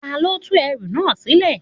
Ta ló tú ẹrú náà sílẹ̀?